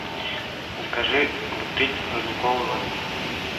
закажи бутыль родниковой воды